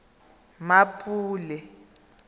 mmapule